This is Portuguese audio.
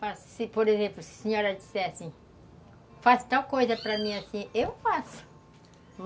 Por exemplo, se a senhora dissesse assim, faça tal coisa para mim assim, eu faço.